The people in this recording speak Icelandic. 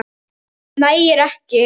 Það nægir ekki.